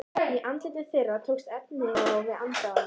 Í andlitum þeirra tókst efinn á við aðdáunina.